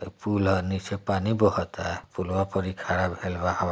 पुल है नीचे पानी बहुत पुलआ पर ई खड़ा भइल बा ।